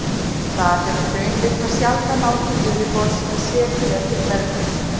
Þar hefur hraunkvika sjaldan náð til yfirborðs en setið eftir í berggöngum.